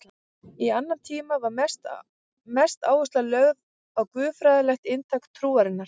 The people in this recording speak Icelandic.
Í annan tíma var mest áhersla lögð á guðfræðilegt inntak trúarinnar.